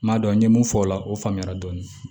N m'a dɔn n ye mun fɔ o la o faamuyara dɔɔni